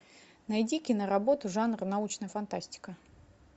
найди киноработу жанр научная фантастика